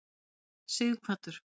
Sighvatur